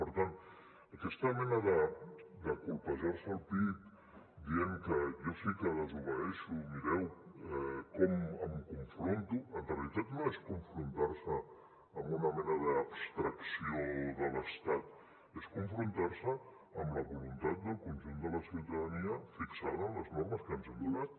per tant aquesta mena de colpejar se el pit dient que jo sí que desobeeixo mireu com m’hi confronto en realitat no és confrontar se amb una mena d’abstracció de l’estat és confrontar se amb la voluntat del conjunt de la ciutadania fixada en les normes que ens hem donat